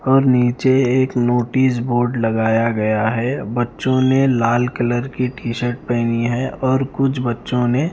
और नीचे एक नॉटिस बोर्ड लगया गया है बच्चो में लाल कलर की टी शर्ट पेहनी है और कुछ बच्चो ने --